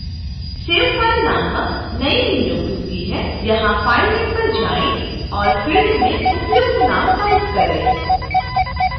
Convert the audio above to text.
save file नामक नईं window खुलती है यहाँ file name पर जाएँ और field में उपयुक्त नाम टाइप करें